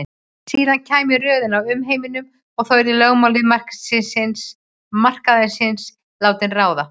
Síðar kæmi röðin að umheiminum og þá yrðu lögmál markaðarins látin ráða.